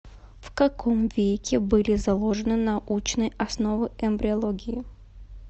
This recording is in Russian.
в каком веке были заложены научные основы эмбриологии